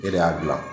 E de y'a gilan